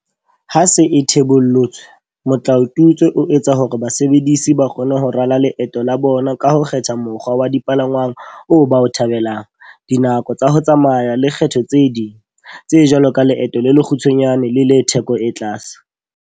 Ha e se e thebollotswe, motlao tutswe o etsa hore basebedisi ba kgone ho rala leeto la bona ka ho kgetha mokgwa wa dipalangwang oo ba o thabelang, dinako tsa ho tsamaya le kgetho tse ding, tse jwalo ka leeto le lekgu tshwanyane le le theko e tlase.